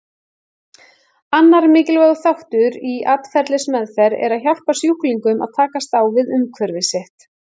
Annar mikilvægur þáttur í atferlismeðferð er að hjálpa sjúklingnum að takast á við umhverfi sitt.